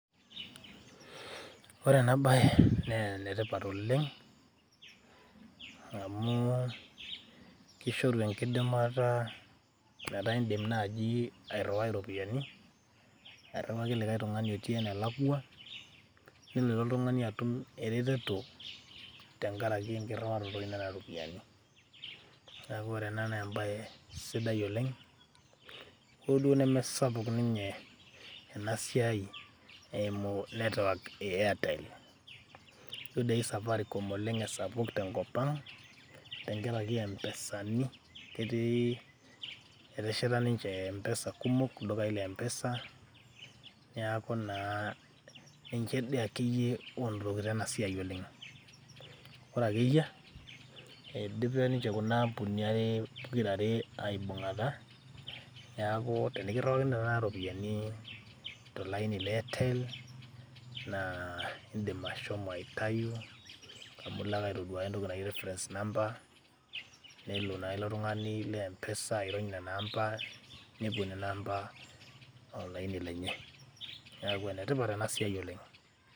Ore ena baye nee ene tipat oleng' amu kishoru enkidimata metaa indim naji airiwai iropiani airiwaki likai tung'ani oti enelakua nelo ilo tung'ani atum ereteto tenkaraki enkiriwaroto ino o ropiani. Neeku ore ena naa embaye sidai oleng' hoo duo nemesapuk ninye ena siai eimu network e Airtel, jo doi safaricom oleng' e sapuk tenkop ang' tenkaraki e Mpesani, ketii etesheta ninje mpesa kumok ildukai le mpesa, neeku naa nje dii ake yie onotokitio ena siai oleng'. Ore ake eyia eidipe ninje kuna ambunini are ninje aibung'ata, neeku tenekiriwakini tenakata ropiani to laini le Airtel , naa indim aitayu amu ilo ake aitaduaya entoki naji reference number, nelo naa ilo tung'ani le mpesa airony nena amba nepuo nena amba olaini lenye. Neeku enetipat ena siai oleng'.